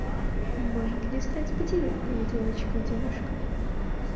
может ли стать пятилетняя девочкой девушкой